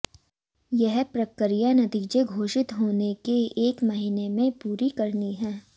यह प्रक्रिया नतीजें घोषित होने के एक महीने में पूरी करनी है